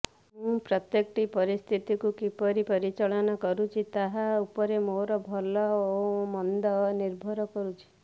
ମୁଁ ପ୍ରତ୍ୟେକଟି ପରିସ୍ଥିତିକୁ କିପରି ପରିଚାଳନା କରୁଛି ତାହା ଉପରେ ମୋର ଭଲ ଓ ମନ୍ଦ ନିର୍ଭର କରୁଛି